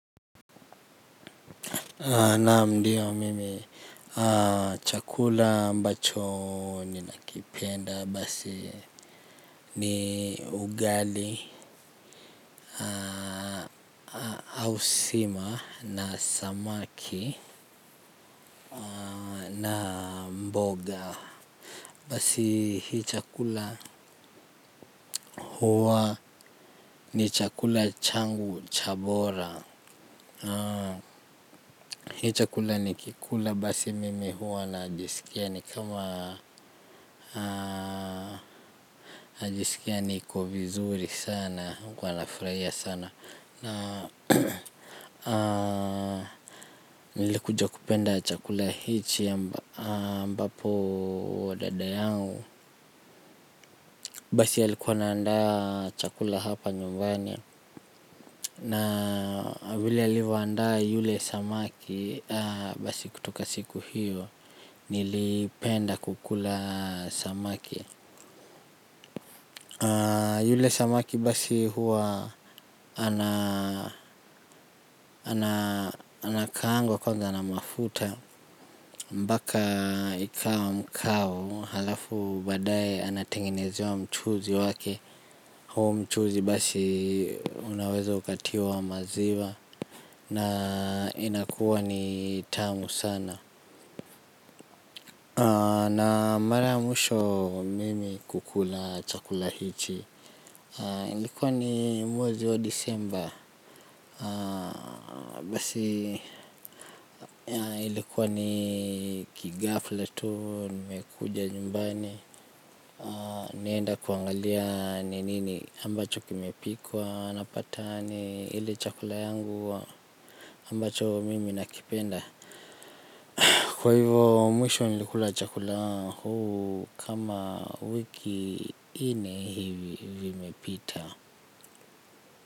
Naam ndiyo mimi chakula ambacho ninakipenda basi ni ugali au sima na samaki na mboga. Basi hii chakula huwa ni chakula changu cha bora. Hii chakula nikikula basi mimi huwa najisikia ni kama najisikia niko vizuri sana. Kuwa nafurahia sana. Na nilikuja kupenda chakula hichi ambapo dada yangu. Basi alikuwa ana andaa chakula hapa nyumbani. Na vile alivyoandaa yule samaki basi kutoka siku hiyo. Nilipenda kukula samaki. Yule samaki basi huwa anakaangwa kwanza na mafuta mpaka ikawa mkavu halafu baadaye anatengenezewa mchuuzi wake. Huo mchuuzi basi unaweza ukatiwa maziwa. Na inakuwa ni tamu sana. Na mara ya mwisho mimi kukula chakula hichi. Ilikuwa ni mwezi wa disemba. Basi ilikuwa ni kighafla tu. Nimekuja nyumbani. Naenda kuangalia ni nini ambacho kimepikwa. Napata ni ile chakula yangu ambacho mimi nakipenda. Kwa hivo mwisho nilikula chakula huu. Kama wiki nne hivi vimepita.